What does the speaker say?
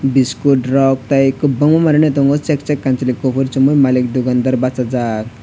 biskut rok tei kwbangna manwino tongo chek chek kamchwlwi kuphuru chumui malik dukandar bachajak.